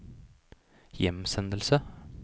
hjemsendelse